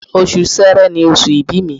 Oṣù Sẹrẹ ni oṣù ìbí mi